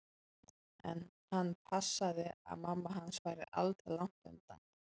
En hann passaði að mamma hans væri aldri langt undan.